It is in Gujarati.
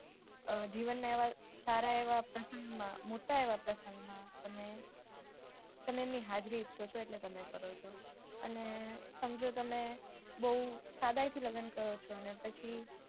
જીવનના એવાં સારા એવાં પ્રસંગમાં મોટા એવાં પ્રસંગમાં તમે એની હાજરી ઈચ્છો છો એટલે તમે કરો છો અને સમજો તમે બૌ સાદાઈથી લગ્ન કરો છો પછી